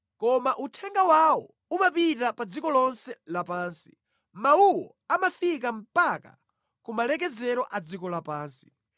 Koma uthenga wawo umapita pa dziko lonse lapansi, mawuwo amafika mpaka kumalekezero a dziko lapansi.